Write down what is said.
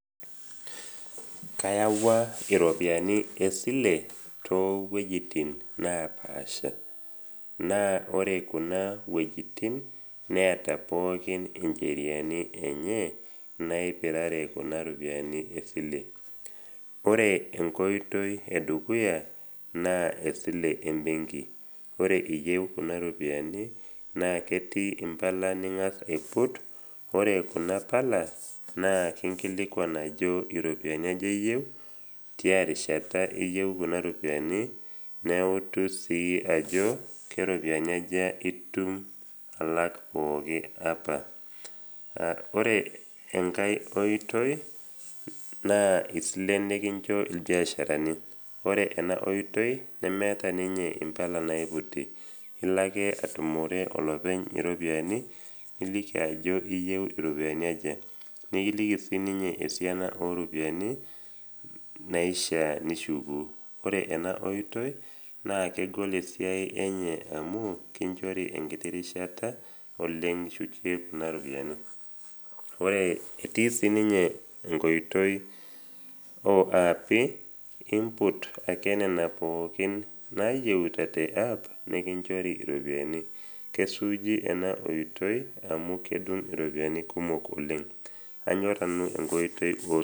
Kayawua iropiani esile too wuejitin naapaasha. Naa ore kuna wuejitin neata pookin incheriani enye naipirare kuna ropiani esile. Ore enkoitoi e dukuya naa esile embenki. Ore iyeu kuna ropiani naa ketii impala ning’as aiput. Ore kuna pala, naa kinkilikuan ajo iropiani aja iyeu, tiarishata iyeu kuna ropiani, neutu sii ajo, keropiani aja itum alak pooki apa. Ore enkai oitoi naa isilen nekincho ilbiasharani. Ore ena oitoi nemeata ninye impala naiputi, ilo ake atumore olopeny iropiani niliki ajo iyeu iropiani aja, nikiliki siininye esiana o ropiani naishaa nishuku, ore ena oitoi naa kegol esiai enye amu kinchori enkiti rishi oleng nishukie nena ropiani. Etii siininye enkoiti o aapi, imput ake nena pookin nayeuta teapp nekinchori iropiani. Kesuuji ena oitoi amu kedung iropiani kumok oleng. Anyor nanu enkoiti o silen ombekii.